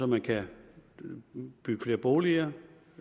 man kan bygge flere boliger